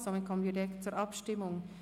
Somit kommen wir direkt zur Abstimmung.